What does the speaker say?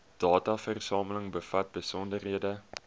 dataversameling bevat besonderhede